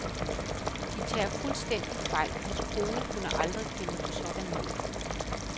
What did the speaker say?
De tager fuldstændig fejl, hans kone kunne aldrig finde på sådan noget.